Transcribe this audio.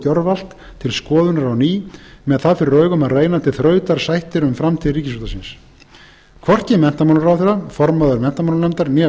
gjörvallt til skoðunar á ný með það fyrir augum að reyna til þrautar sættir um framtíð ríkisútvarpsins hvorki menntamálaráðherra formaður menntamálanefndar né